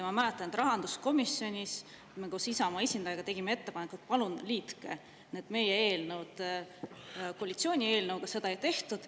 Ma mäletan, et rahanduskomisjonis, kus me Isamaa esindajaga tegime ettepaneku, et palun liitke need meie eelnõud koalitsiooni eelnõuga, seda ei tehtud.